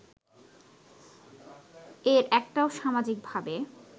এর একটাও সামাজিকভাবে